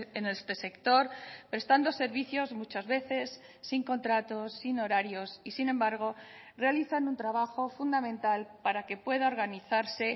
en este sector prestando servicios muchas veces sin contratos sin horarios y sin embargo realizan un trabajo fundamental para que pueda organizarse